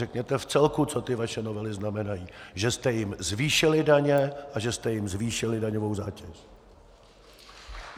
Řekněte v celku, co ty vaše novely znamenají, že jste jim zvýšili daně a že jste jim zvýšili daňovou zátěž.